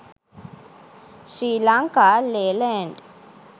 sri lanka leyland